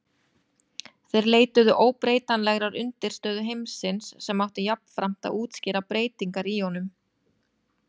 Ýmsar líkamlegar breytingar koma fram á kynþroskaskeiðinu.